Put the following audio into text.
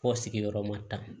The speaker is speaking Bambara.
Fɔ sigiyɔrɔma tan